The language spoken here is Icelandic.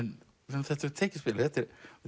þetta hefur tekist vel þetta er